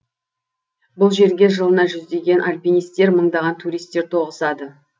бұл жерге жылына жүздеген альпинистер мыңдаған туристер тоғысады